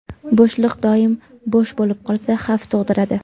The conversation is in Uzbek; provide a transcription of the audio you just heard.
Bo‘shliq - doim bo‘sh bo‘lib qolsa xavf tug‘diradi.